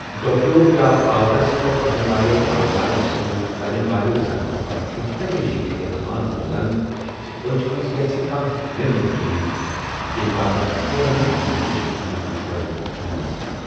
ڈوكرِیو یا پاورس پیٹھ پكن والیِو اوزارو٘ سۭتۍ لگن والہِ زخمہٕ پتہٕ چھٗ ہمیشہِ یہِ احتمال روزان زِ اچھہِ منز گژھِ كانہہ نیبرِم چیز ، ییمہِ باپتھ فورن مٲہِرِ چشم سٗند مشورٕ ہینہٕ گژھہِ یٗن ۔